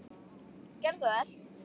Gerðu svo vel!